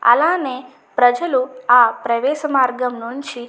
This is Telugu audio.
అలానే ప్రజలు ఆ ప్రవేశ మార్గంలో నుంచి --